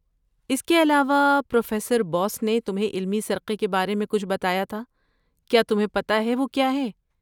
اس کے علاوہ، پروفیسر بوس نےتمہیں علمی سرقے کے بارے میں کچھ بتایا تھا، کیا تمہیں پتہ ہے وہ کیا ہے؟